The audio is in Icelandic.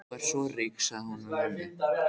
Þú ert svo rík, sagði hún við mömmu.